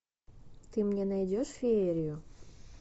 ты мне найдешь феерию